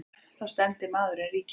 Þá stefndi maðurinn ríkinu.